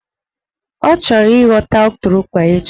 Ọ chọrọ ịghọta ụtụrụkpa echi